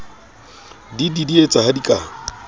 di didietse ha di ka